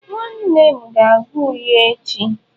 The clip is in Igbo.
Nwannem ga-aga uyo echi.